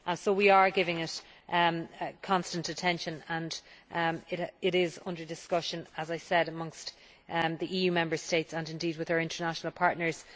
We are giving it constant attention and it is under discussion, as I said, amongst the Member States and indeed with our international partners.